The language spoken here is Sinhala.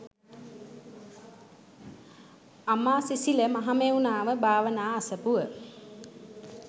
අමාසිසිල මහමෙව්නාව භාවනා අසපුව